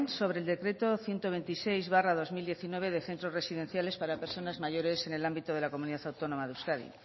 sobre el decreto ciento veintiséis barra dos mil diecinueve de centros residenciales para personas mayores en el ámbito de la comunidad autónoma de euskadi